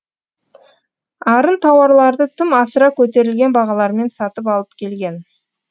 арын тауарларды тым асыра көтерілген бағалармен сатып алып келген